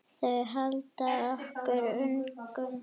Þau halda okkur ungum.